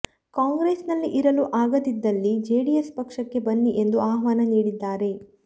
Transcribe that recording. ಕಾಂಗ್ರೆಸ್ ನಲ್ಲಿ ಇರಲು ಆಗದಿದ್ದಲ್ಲಿ ಜೆಡಿಎಸ್ ಪಕ್ಷಕ್ಕೆ ಬನ್ನಿ ಎಂದು ಆಹ್ವಾನ ನೀಡಿದ್ದಾರೆ